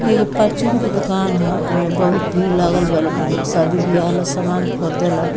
इ एगो परचून के दुकान ह एमे बहुत भीड़ लागल बा लोग शादी-बिहा ला सामान खरदेला।